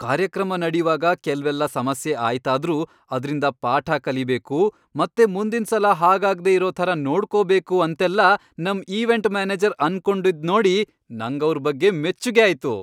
ಕಾರ್ಯಕ್ರಮ ನಡೀವಾಗ ಕೆಲ್ವೆಲ್ಲ ಸಮಸ್ಯೆ ಆಯ್ತಾದ್ರೂ, ಅದ್ರಿಂದ ಪಾಠ ಕಲಿಬೇಕು ಮತ್ತೆ ಮುಂದಿನ್ಸಲ ಹಾಗಾಗ್ದೇ ಇರೋ ಥರ ನೋಡ್ಕೊಬೇಕು ಅಂತೆಲ್ಲ ನಮ್ ಈವೆಂಟ್ ಮ್ಯಾನೇಜರ್ ಅನ್ಕೊಂಡಿದ್ನೋಡಿ ನಂಗವ್ರ್ ಬಗ್ಗೆ ಮೆಚ್ಗೆ ಆಯ್ತು.